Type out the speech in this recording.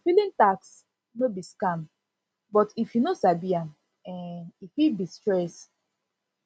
filing tax no be scam but if you no sabi am um e fit be stress